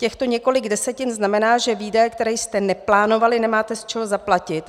Těchto několik desetin znamená, že výdaje, které jste neplánovali, nemáte z čeho zaplatit.